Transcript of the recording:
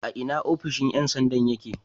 A ina ofishon ƴan sanda yake?